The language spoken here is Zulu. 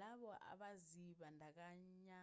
labo abazibandakanya